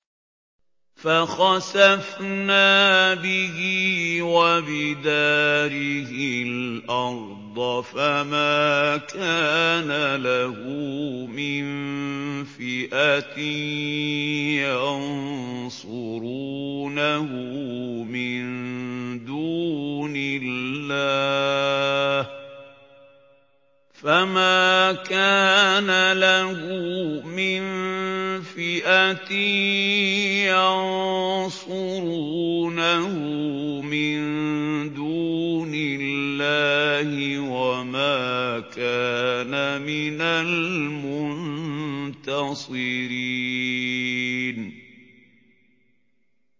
فَخَسَفْنَا بِهِ وَبِدَارِهِ الْأَرْضَ فَمَا كَانَ لَهُ مِن فِئَةٍ يَنصُرُونَهُ مِن دُونِ اللَّهِ وَمَا كَانَ مِنَ الْمُنتَصِرِينَ